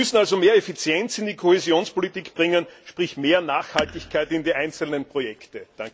Wir müssen also mehr Effizienz in die Kohäsionspolitik bringen, sprich mehr Nachhaltigkeit in die einzelnen Projekte.